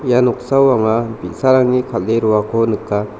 ia noksao anga bi·sarangni kal·e roako nika.